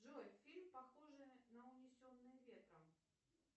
джой фильм похожий на унесенные ветром